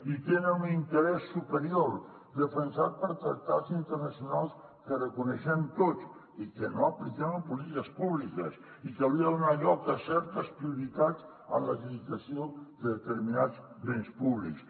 i tenen un interès superior defensat per tractats internacionals que reconeixem tots i que no apliquem en polítiques públiques i que haurien de donar lloc a certes prioritats en l’adjudicació de determinats béns públics